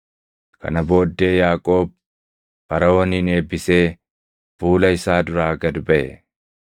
Kana booddee, Yaaqoob Faraʼoonin eebbisee fuula isaa duraa gad baʼe.